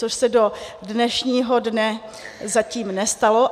Což se do dnešního dne zatím nestalo.